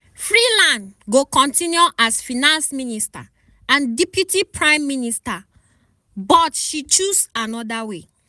freeland go continue as finance minister and deputy prime minister but "she choose anoda way".